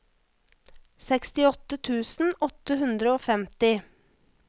sekstiåtte tusen åtte hundre og femti